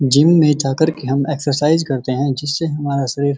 gym में जाकर के हम एक्सरसाइज करते हैं जिससे हमारा शरीर --